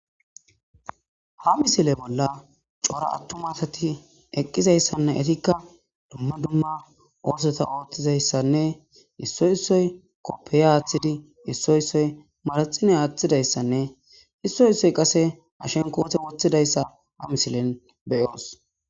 ha misile bolla cora attu m atati eqqizayssanne etikka dumma dumma oosota ooththizayssanne issoy issoy koppeya aaththidi issoy issoy maraxine aaththidayssanne issoy issoy qase ashenkoote woththidayssa ha misilen beyoos